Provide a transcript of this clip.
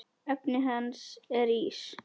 Efnið hans er ís.